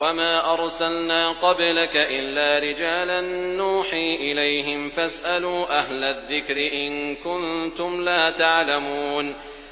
وَمَا أَرْسَلْنَا قَبْلَكَ إِلَّا رِجَالًا نُّوحِي إِلَيْهِمْ ۖ فَاسْأَلُوا أَهْلَ الذِّكْرِ إِن كُنتُمْ لَا تَعْلَمُونَ